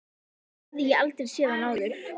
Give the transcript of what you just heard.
Svona hafði ég aldrei séð hann áður.